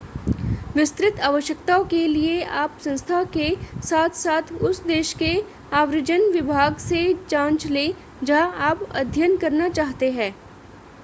विस्तृत आवश्यकताओं के लिए आप संस्था के साथ-साथ उस देश के आव्रजन विभाग से जांच लें जहां आप अध्ययन करना चाहते हैं